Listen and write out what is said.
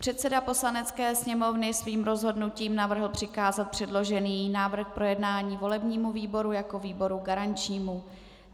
Předseda Poslanecké sněmovny svým rozhodnutím navrhl přikázat předložený návrh k projednání volebnímu výboru jako výboru garančnímu.